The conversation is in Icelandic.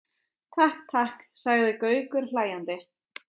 Takk, takk sagði Gaukur hlæjandi.